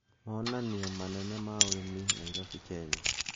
Monaniria manene ya ũrìmi Nairobi Kenya